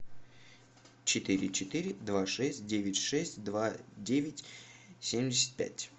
четыре четыре два шесть девять шесть два девять семьдесят пять